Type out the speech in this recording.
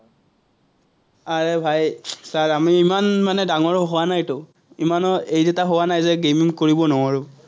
আৰে ভাই, চা আমি ইমান মানে ডাঙৰ হোৱা নাইতো, ইমানো age এটা হোৱা নাই যে gaming কৰিব নোৱাৰো।